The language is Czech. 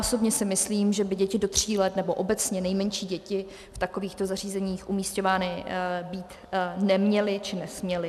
Osobně si myslím, že by děti do tří let nebo obecně nejmenší děti v takovýchto zařízeních umísťovány být neměly či nesměly.